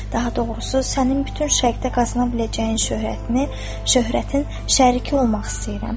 Daha doğrusu sənin bütün Şərqdə qazana biləcəyin şöhrətini, şöhrətin şəriki olmaq istəyirəm.